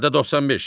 Maddə 95.